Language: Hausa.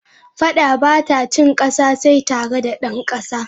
Fadda bata cin kassa, sai tare da dan kassa.